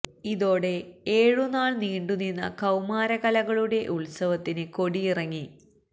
ഇതോടെ ഏഴുനാൾ നീണ്ടു നിന്ന കൌമാര കലകളുടെ ഉത്സവത്തിന് കൊടിയിറങ്ങി